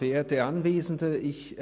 Sprecher des Büros des Grossen Rats.